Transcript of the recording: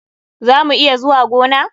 Za mu iya zuwa gona na?